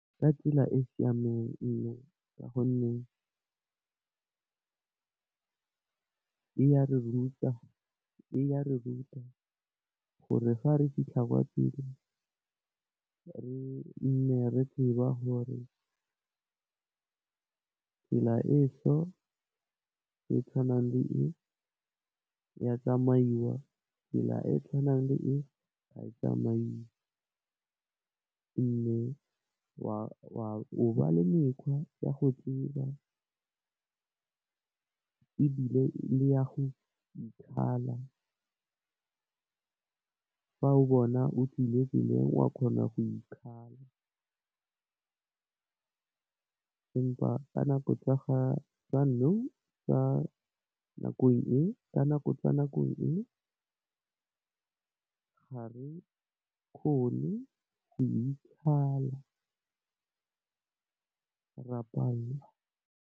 Ka tsela e siameng ee, ka gonne e ya re ruta gore fa re fitlha kwa tirong re nne re tseba hore tsela e so e tshwanang le e, ya tsamaiwa, tsela e tshwanang le e, ga e tsamaiwe mme, o ba le mekgwa ya go ithiba ebile, le ya go ikgala fa o bona o tswile tseleng wa kgona go ikgala empa ka nako tsa ka nakong e ga re kgone go ikgala, ra pallwa.